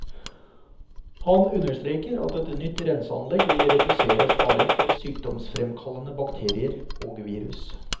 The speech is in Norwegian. Han understreker at et nytt renseanlegg vil redusere faren for sykdomsfremkallende bakterier og virus.